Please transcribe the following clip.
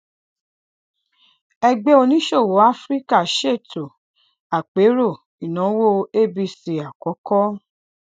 ẹgbẹ oníṣòwò áfíríkà ṣètò àpérò ìnáwó abc àkọkọ